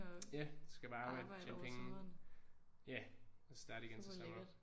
Ja så skal jeg bare arbejde tjene penge ja og starte igen til sommer